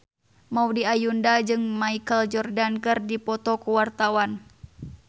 Maudy Ayunda jeung Michael Jordan keur dipoto ku wartawan